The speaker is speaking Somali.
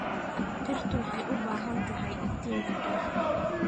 Dhirtu waxay u baahan tahay iftiinka qorraxda.